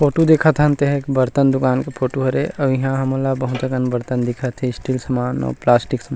photo देखत हन ते ह एक बर्तन दुकान के फोटो हरे अउ इहा हमन ला बहुत अकन बर्तन दिखत हे स्टील समान अउ प्लास्टिक समान--